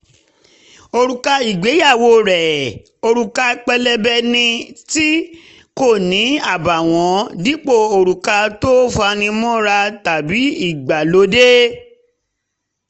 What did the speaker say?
òrùka ìgbéyàwó rẹ̀ jẹ́ òrùka pélébé tí kò ní àbààwọ́n dípò òrùka tó fani mọ́ra tàbí ìgbàlódé